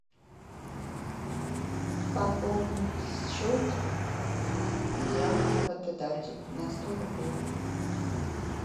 пополнить счет диана работодатель на сто рублей